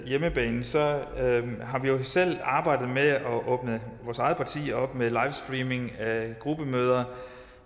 hjemmebane har vi jo selv arbejdet med at åbne vores eget parti op med livestreaming af gruppemøder